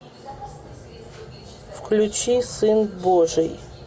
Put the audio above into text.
включи сын божий